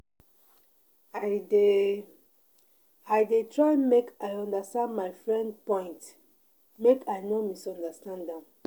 I dey I dey try make I understand my friend point make I no misunderstand am.